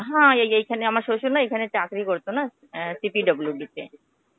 হ্যাঁ, এই এইখানে আমার শ্বশুর না এইখানে চাকরি করতো না. আ CPWD তে.